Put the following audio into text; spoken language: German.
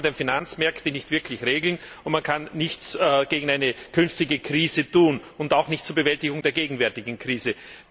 Damit kann man die Finanzmärkte nicht wirklich regeln, und man kann nichts gegen eine künftige Krise tun, auch nicht zur Bewältigung der gegenwärtigen Krise.